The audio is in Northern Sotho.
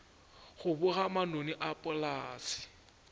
go boga manoni a polase